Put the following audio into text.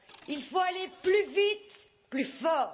Il faut aller plus vite, plus fort.